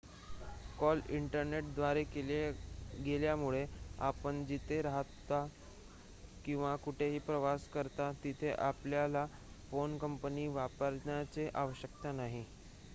call इंटरनेटद्वारे केले गेल्यामुळे आपण जिथे राहता किंवा कुठेही प्रवास करता तिथे आपल्याला फोन कंपनी वापरण्याची आवश्यकता नाही